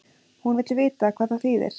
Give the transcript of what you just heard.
Hún vill vita hvað það þýðir.